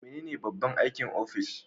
Menene babban aikin ofis?